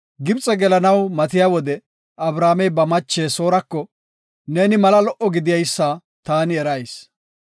Gibxe gelanaw matiya wode Abramey ba mache Soorako, “Neeni mala lo77o gideysa taani erayis;